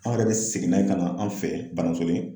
An yɛrɛ bi segin n'a ye ka na an fɛ Banasoni